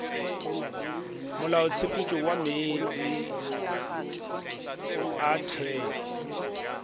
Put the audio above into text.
molaotshepetšo wa meetse a theo